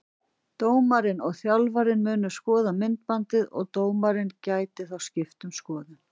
Dómarinn og þjálfarinn munu skoða myndband og dómarinn gæti þá skipt um skoðun.